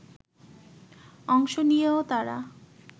অংশ নিয়েও তারা